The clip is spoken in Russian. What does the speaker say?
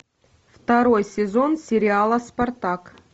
второй сезон сериала спартак